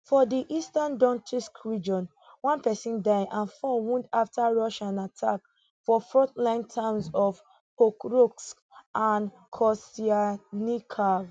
for di eastern Acceptedtsk region one pesin die and four wound afta russian attack for frontline towns of pokrovsk and kostyantynivka